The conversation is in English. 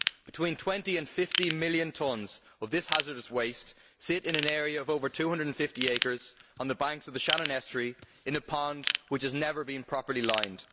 Between 20 million and 50 million tonnes of this hazardous waste sit in an area of over 250 acres on the banks of the Shannon estuary in a pond which has never been properly lined.